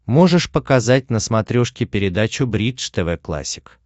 можешь показать на смотрешке передачу бридж тв классик